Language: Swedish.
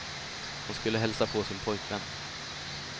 Hon skulle hälsa på sin pojkvän.